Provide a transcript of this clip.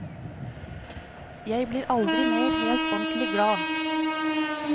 Jeg blir aldri mer helt ordentlig glad.